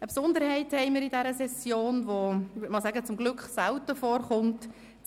Diese Session weist eine Besonderheit auf: